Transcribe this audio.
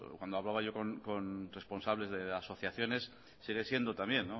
cuando hablaba yo con responsables de asociaciones sigue siendo también